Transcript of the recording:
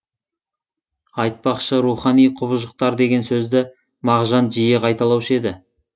айтпақшы рухани құбыжықтар деген сөзді мағжан жиі қайталаушы еді